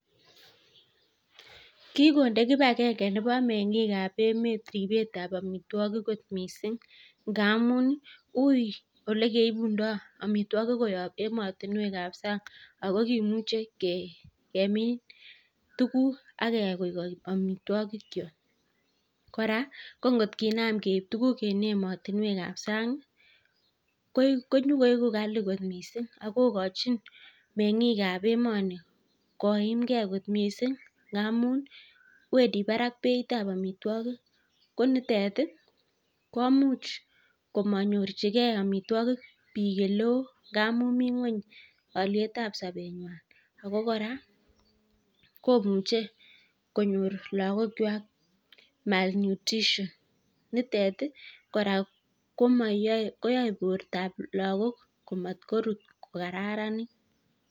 KIgonde kipagenge nebo meng'ik ab emet ripet ab amitwogik kot mising ngamun uiy ole keibundo amitwogik koyob emotinwek ab sang ago kimuche kemin tuguk ak keyai koik amitwogikyok. Kora ko ngot kinam keib tuuguk en emotinwek ab sang konyokoigu kali kot mising ago kochin meng'ik ab emoni koimge kot mising ngamun wendi barak beit ab amitwogik konitet komuch komanyorjige amitwogik biik ele oo ngamun mi ngweny olyet ab sobenywan ago kora komuche konyor lagokywak malnutrition nitet kora koyae bortab lagok komatkorut ko kararanit.